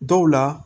Dɔw la